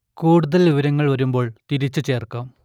കൂടുതൽ വിവരങ്ങൾ വരുമ്പോൾ തിരിച്ചു ചേർക്കാം